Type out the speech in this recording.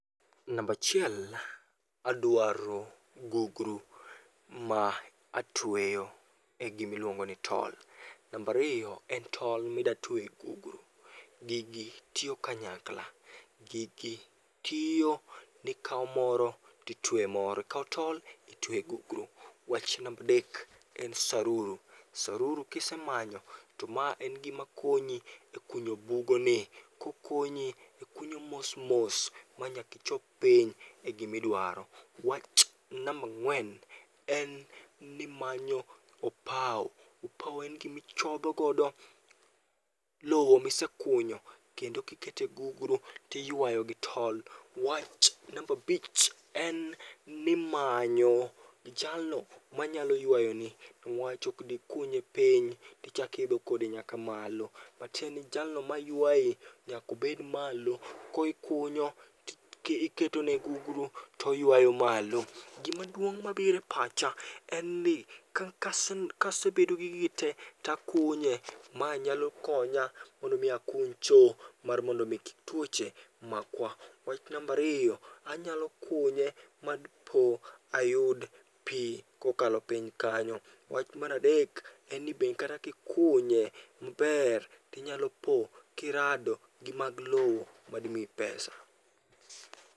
Nambachiel adwaro gugru ma atweyo e gimiluongo ni tol. Nambariyo en tol midwa twe e gugru, gigi tiyo kanyakla. Gigi tiyo nikawo moro titwe e moro, ikawo tol titwe e gugru. Wach nambadek en saruru, saruru kisemanyo to en gimakonyi e kunyo bugoni. Kokonyi ikunyo mos mos manyakichop piny, e gimiduaro. Wach namba ng'wen en nimanyo opau, opau en gimichodhogodo lowo misekunyo kendo kikete gugru tiywayo gi tol. Wach nambabich en nimanyo jalo manyalo ywayoni. Niwach ok dikunye piny tichak iidho kode nyaka malo. Matieni jalo maywae nyakobed malo, kokunyo tiketone gugru toywayo malo. Gimaduong' mabire pacha, en ni kasebedo gi gigi te takunye. Ma nyalo konya mondo mi akuny cho, mar mondo kik tuoche makwa. Wach nambariyo, anyalo kunye madpo ayud pi kokalo piny kanyo. Wach maradek, en ni be kata kikunye maber tinyalo po kirado gi mag lowo madimiyi pesa.